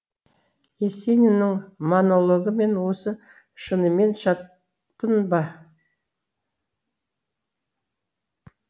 есениннің монологы мен осы шынымен шатпын ба